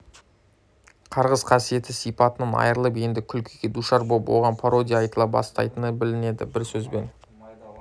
қарғыс қасиетті сипатынан айырылып енді күлкіге душар боп оған пародия айтыла бастайтыны білінеді бір сөзбен